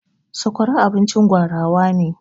Sakwara abincin gwarawa ne.